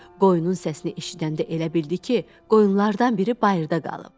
Qoyunun səsini eşidəndə elə bildi ki, qoyunlardan biri bayırda qalıb.